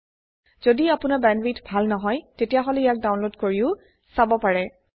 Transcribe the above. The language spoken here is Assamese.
যদি আপোনাৰ বেণ্ডৱিডথ ভাল নহয় তেতিয়াহলে ইয়াক ডাউনলোড কৰিও চাব পাৰে